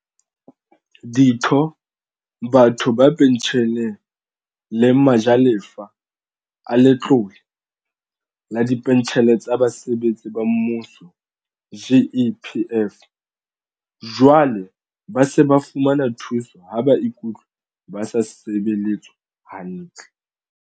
Ditho, batho ba pentjheleng le ma jalefa a Letlole la Dipentjhele tsa Basebetsi ba Mmuso, GEPF, jwale ba se ba fumana thuso ha ba ikutlwa ba sa sebeletswa hantle.